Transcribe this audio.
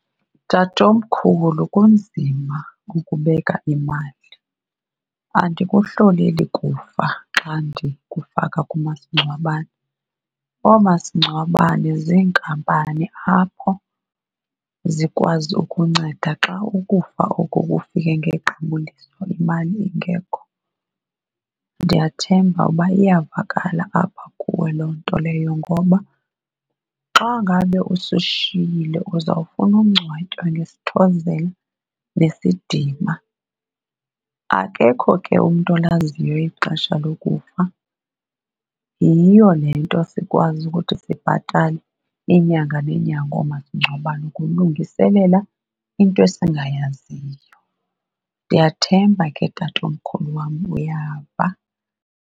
Tatomkhulu, kunzima ukubeka imali. Andikuhloleli kufa xa ndikufaka kumasingcwabane. Oomasingcwabane ziinkampani apho zikwazi ukunceda xa ukufa oko kufike ngequbuliso imali ingekho. Ndiyathemba uba iyavakala apha kuwe loo nto leyo ngoba xa ngabe usishiyile uzawufuna ungcwatywa ngesithozela nesidima. Akekho ke umntu olaziyo ixesha lokufa, yiyo le nto sikwazi ukuthi sibhatale iinyanga neenyanga oomasingcwabane, ukulungiselela into esingayaziyo. Ndiyathemba ke, tatomkhulu wam, uyava.